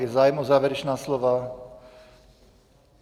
Je zájem o závěrečná slova?